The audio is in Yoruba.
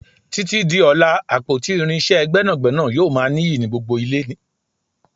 Títí di ọlá, àpótí irinsé gbẹ́nàgbẹ́nà yóò ma niyi ni gbogbo ile.